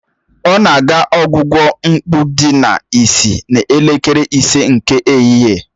Ọ na-aga ọgwụgwọ mkpụ dị n'isi n'elekere ise nke ehihie